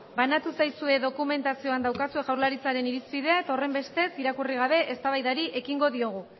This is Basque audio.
banatu zaizue dokumentazioan daukazue jaurlaritzaren irizpidea eta horrenbestez irakurri gabe eztabaidari ekingo diogu